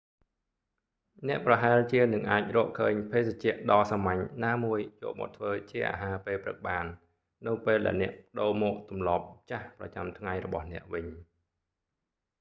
អ្នកប្រហែលជានឹងអាចរកឃើញភេសជ្ជៈដ៏សាមញ្ញណាមួយយកមកធ្វើជាអាហារពេលព្រឹកបាន នៅពេលដែលអ្នកប្តូរមកទម្លាប់ចាស់ប្រចាំថ្ងៃរបស់អ្នកវិញ